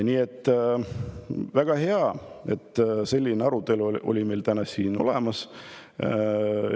Nii et väga hea, et meil täna siin selline arutelu oli.